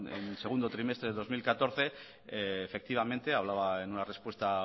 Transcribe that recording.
en segundo trimestre de dos mil catorce efectivamente hablaba en una respuesta